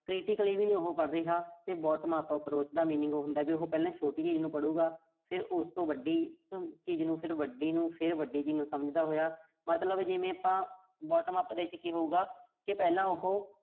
critically ਵੀ ਨੀਂ ਉਹੋ ਪੜ੍ਹ ਰਿਹਾ। ਤੇ bottom up approach ਦਾ meaning ਹੁੰਦਾ ਵੀ ਉਹੋ ਪਹਿਲਾਂ ਛੋਟੀ ਚੀਜ਼ ਨੂੰ ਪੜੂਗਾ। ਫਿਰ ਉਸ ਤੋਂ ਵੱਡੀ ਚੀਜ਼ ਨੂੰ, ਫਿਰ ਵੱਡੀ ਨੂੰ, ਫਿਰ ਵੱਡੀ ਚੀਜ਼ ਨੂੰ ਸਮਝਦਾ ਹੋਇਆ। ਮਤਲਬ ਇੱਕ ਜਿਵੇਂ ਆਪਾਂ bottom up ਦੇ ਵਿਚ ਕੀ ਹੋਊਗਾ ਕਿ ਪਹਿਲਾਂ ਉਹੋ